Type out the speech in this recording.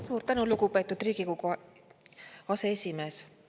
Suur tänu, lugupeetud Riigikogu aseesimees!